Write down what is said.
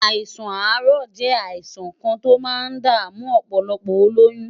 Àìsàn àárọ̀ jẹ́ àìsàn kan tí ó máa ń dààmú ọ̀pọ̀lọpọ̀ olóyún.